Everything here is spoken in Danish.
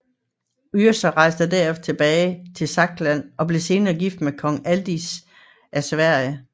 Yrsa rejste derefter tilbage til Saksland og blev senere gift med kong Adils af Sverige